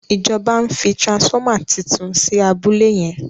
ìjọba ń fí transformer títún sí abúlé yen.